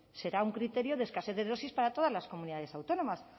será un criterio de escasez de dosis para todas las comunidades autónomas